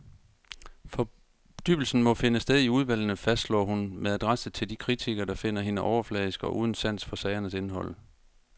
Fordybelsen må finde sted i udvalgene, fastslår hun med adresse til de kritikere, der finder hende overfladisk og uden sans for sagernes indhold.